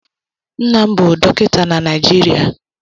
Nna m bụ Dọkịta na Naịjirịa.